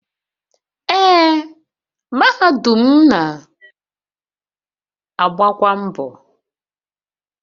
Ee, mahadum mụ na-agbakwa mbọ.